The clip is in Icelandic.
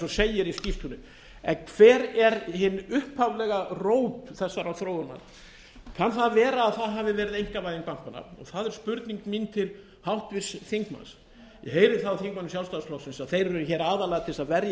og segir í skýrslunni en hver er hin upphaflega rót þessarar þróunar kann það að vera að það hafi verið einkavæðing bankanna og það er spurning mín til háttvirts þingmanns ég heyri það á þingmönnum sjálfstæðisflokksins að þeir eru hér aðallega til að verja